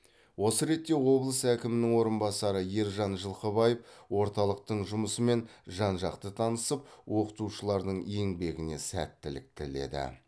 осы ретте облыс әкімінің орынбасары ержан жылқыбаев орталықтың жұмысымен жан жақты танысып оқытушылардың еңбегіне сәттілік тіледі